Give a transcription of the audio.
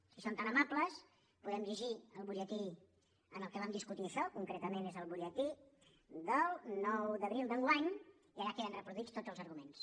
si són tan amables podem llegir el butlletí en què vam discutir això concretament és el butlletí del nou d’abril d’enguany i allà queden reproduïts tots els arguments